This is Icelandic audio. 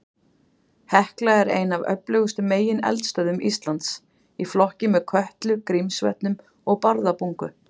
Hekla er ein af öflugustu megineldstöðvum Íslands, í flokki með Kötlu, Grímsvötnum og Bárðarbungu.